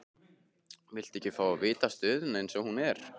Viltu ekki fá að vita stöðuna eins og hún er?